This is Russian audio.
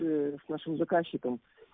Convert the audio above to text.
с нашим заказчиком